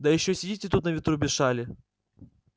да ещё сидите тут на ветру без шали